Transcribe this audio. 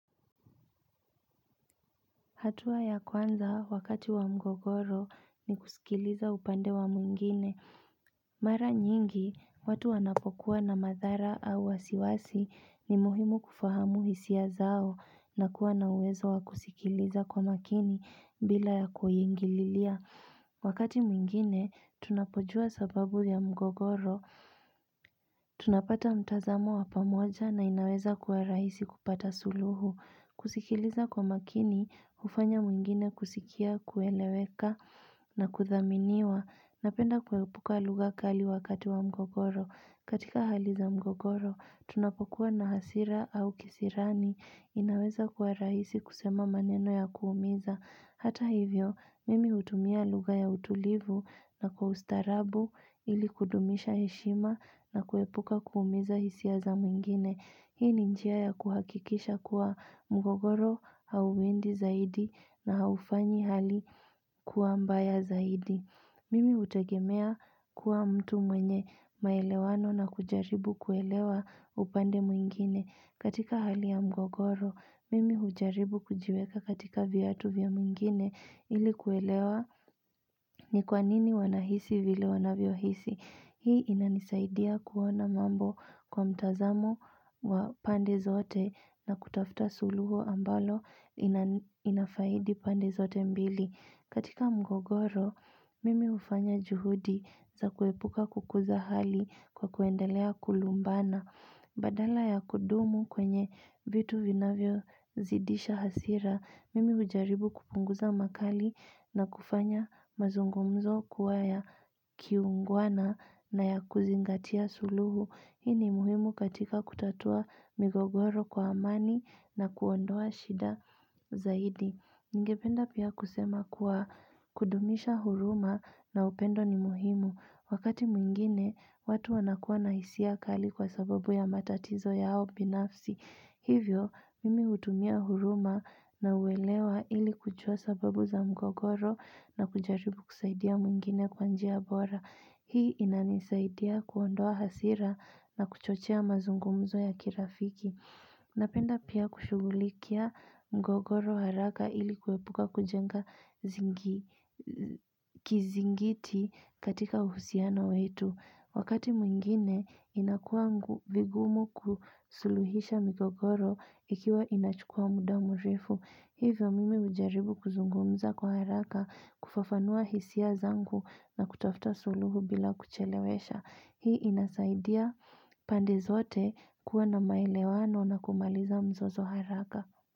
Hatua ya kwanza wakati wa mgogoro ni kusikiliza upande wa mwingine. Mara nyingi, watu wanapokuwa na madhara au wasiwasi ni muhimu kufahamu hisia zao na kuwa na uwezo wakusikiliza kwa makini bila ya kuingililia. Wakati mwingine, tunapojua sababu ya mgogoro. Tunapata mtazamo wapamoja na inaweza kuwa raisi kupata suluhu. Kusikiliza kwa makini, ufanya mwingine kusikia kueleweka na kuthaminiwa Napenda kuepuka lugakali wakati wa mgogoro katika haliza mgogoro, tunapokuwa na hasira au kisirani inaweza kwa rahisi kusema maneno ya kuumiza Hata hivyo, mimi hutumia lugha ya utulivu na kwa ustarabu ili kudumisha heshima na kuepuka kuumiza hisia za mwingine Hii ni njia ya kuhakikisha kuwa mgogoro hau endi zaidi na haufanyi hali kuwa mbaya zaidi. Mimi hutegemea kuwa mtu mwenye maelewano na kujaribu kuelewa upande mwingine. Katika hali ya mgogoro, mimi ujaribu kujiweka katika viatu vya mwingine ili kuelewa ni kwanini wanahisi vile wanavyo hisi. Hii inanisaidia kuona mambo kwa mtazamo wa pande zote na kutafuta suluhu ambalo inafaidi pande zote mbili. Katika mgogoro, mimi hufanya juhudi za kuepuka kukuza hali kwa kuendelea kulumbana. Badala ya kudumu kwenye vitu vinavyo zidisha hasira, mimi ujaribu kupunguza makali na kufanya mazungumzo kuwaya kiungwana na ya kuzingatia suluhu. Hini muhimu katika kutatua migogoro kwa amani na kuondoa shida zaidi. Ngependa pia kusema kuwa kudumisha huruma na upendo ni muhimu. Wakati mwingine, watu wanakuwa na hisi kali kwa sababu ya matatizo yao binafsi. Hivyo, mimi hutumia huruma na uwelewa ili kujua sababu za mgogoro na kujaribu kusaidia mwingine kwanjia bora. Hii inanisaidia kuondoa hasira na kuchochea mazungumzo ya kirafiki. Napenda pia kushugulikia mgogoro haraka ili kuepuka kujenga kizingiti katika uhusiana wetu. Wakati mwingine, inakuwa vigumu kusuluhisha mgogoro ikiwa inachukua muda mrefu. Hivyo mimi ujaribu kuzungumza kwa haraka kufafanua hisia zangu na kutafuta suluhu bila kuchelewesha. Hii inasaidia pande zote kuwa na maelewano na kumaliza mzozo haraka.